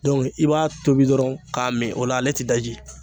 i b'a tobi dɔrɔn k'a mn , o la , ale te daji.